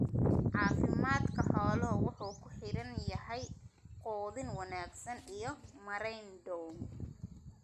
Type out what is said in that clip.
Caafimaadka xooluhu wuxuu ku xidhan yahay quudin wanaagsan iyo maarayn dhow.